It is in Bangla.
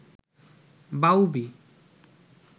বাউবি